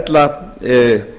ella njóta